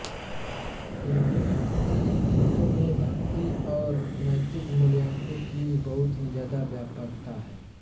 उनके भक्ति गीतोंमें भक्ति और नैतिक मूल्योंकी बहुत ही ज्यादा व्यापकता है